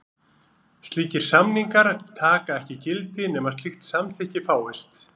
Slíkir samningar taka ekki gildi nema slíkt samþykki fáist.